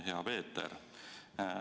Hea Peeter!